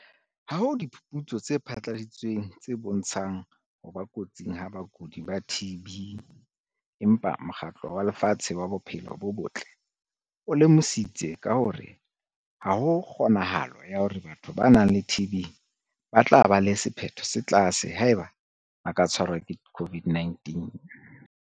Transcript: Ha ho diphuputso tse phatlaladitsweng tse bontshang ho ba kotsing ha bakudi ba TB empa Mokgatlo wa Lefatshe wa Bophelo bo Botle o lemositse ka hore ha ho kgonahalo ya hore batho ba nang le TB ba tla ba le sephetho se tlase haeba ba ka tshwarwa ke COVID-19.